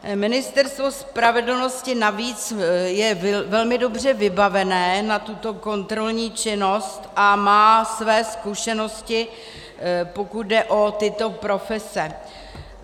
Ministerstvo spravedlnosti navíc je velmi dobře vybaveno na tuto kontrolní činnost a má své zkušenosti, pokud jde o tyto profese.